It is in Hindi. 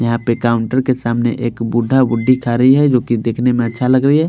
यहाँ पे काउंटर के सामने एक बुद्धा बुद्धी खा रही है जोकि देखने में अच्छा लग रही है।